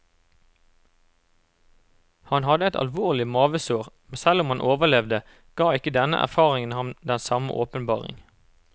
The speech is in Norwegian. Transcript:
Han hadde et alvorlig mavesår, men selv om han overlevde, ga ikke denne erfaringen ham den samme åpenbaring.